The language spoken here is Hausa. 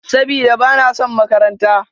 Sabida, ba na son makaranta.